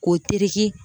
K'o teri